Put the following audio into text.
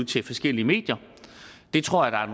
til forskellige medier det tror jeg